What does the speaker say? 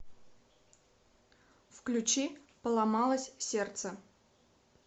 включи поломалось сердце